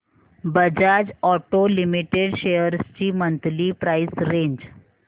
Bajaj auto limited shares ची monthly price range